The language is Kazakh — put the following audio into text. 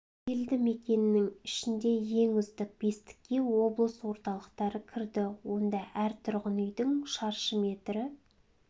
елді мекеннің ішінде ең үздік бестікке облыс орталықтары кірді онда әр тұрғын үйдің шаршы метрі